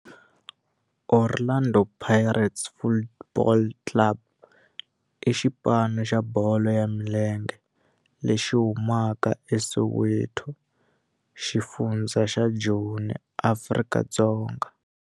Orlando Pirates Football Club i xipano xa bolo ya milenge lexi humaka eSoweto, xifundzha xa Joni, Afrika-Dzonga.